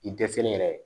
I dɛsɛlen yɛrɛ